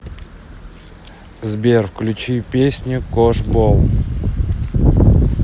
сбер включи песню кош бол